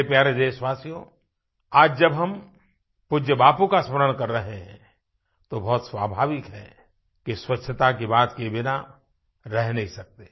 मेरे प्यारे देशवासियो आज जब हम पूज्य बापू का स्मरण कर रहें हैं तो बहुत स्वाभाविक है कि स्वच्छता की बात के बिना रह नहीं सकते